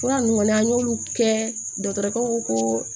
Fura ninnu kɔni an y'olu kɛ dɔgɔtɔrɔkaw ko